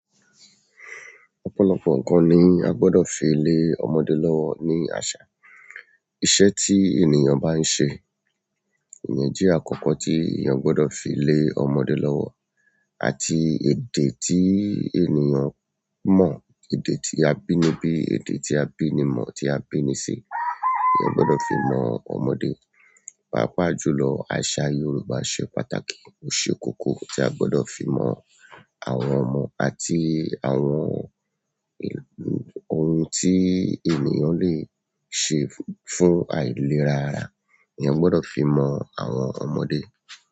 Ọ̀pọ̀lọpọ̀ nǹkan ni a gbọdọ̀ fi lé ọmọdé lọ́wọ́ ní àṣà. Iṣẹ́ ti ènìyàn ba n ṣe iyẹn jẹ akọkọ ti ènìyàn gbọdọ fi le ọmọ rẹ lọwọ àti èdè tí ènìyàn mọ̀, èdè tí a bíi níbí, èdè tí a bíi ní mọ̀, tí a bíi ní si, èèyàn gbọdọ̀ fi mọ ọmọdé. Páápàá jùlọ, àṣà Yorùbá ṣe pàtàkì. O ṣe kókó tí a gbọdọ̀ fi mọ àwọn ọmọ àti àwọn ohun tí ènìyàn le ṣe fún àìlera ara, èèyàn gbọdọ̀ fi mọ àwọn ọmọdé.